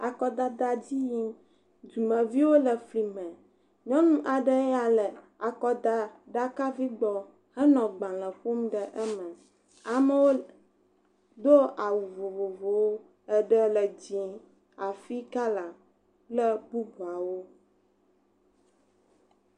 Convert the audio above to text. Akɔdada dzi yim, dumeviwo le fli me, nyɔnu aɖe ya le akɔdaɖakavi gbɔ henɔ gbalẽ ƒom ɖe eme. Amewo do awu vovovowo, eɖe le dz0, afi kala, kple bubuawo.